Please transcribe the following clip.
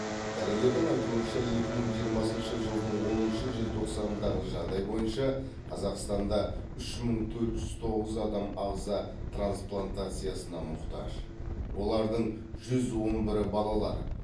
дәрігердің айтуынша екі мың жиырмасыншы жылдың оныншы желтоқсанындағы жағдай бойынша қазақстанда үш мың төрт жүз тоғыз адам ағза трансплантациясына мұқтаж олардың жүз он бірі балалар